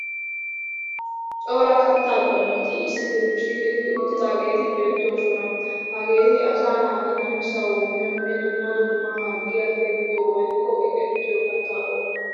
Cora kattaa qommoti issi diribshiiqi uttidaageeti beettoosona. Hageeti asa naati namisawu miyonne dumma dumma harggiya teqqiya woykko eqettiya katta qommo.